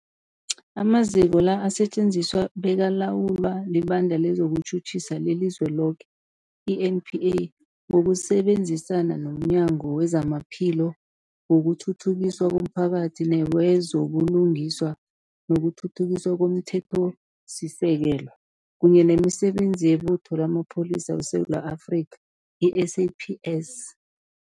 Amaziko la asetjenziswa bekalawulwa liBandla lezokuTjhutjhisa leliZweloke, i-NPA, ngokusebenzisana nomnyango wezamaPhilo, wokuthuthukiswa komphakathi newezo buLungiswa nokuThuthukiswa komThethosisekelo, kunye nemiSebenzi yeButho lamaPholisa weSewula Afrika, i-SAPS.